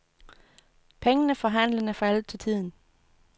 Pengene for handlen er faldet til tiden.